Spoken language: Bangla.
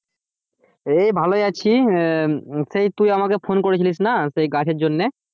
এই ভালোই আছি আহ সেই তুই আমাকে ফোন করে ছিলিস না সেই গাছের জন্যে?